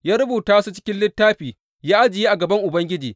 Ya rubuta su cikin littafi ya ajiye a gaban Ubangiji.